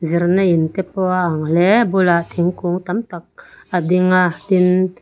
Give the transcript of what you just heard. zirna in te pawh a ang hle a bulah thingkung tam tak a ding a tin--